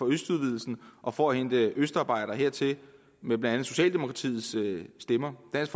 østudvidelsen og for at hente østarbejdere hertil med blandt andet socialdemokratiets stemmer dansk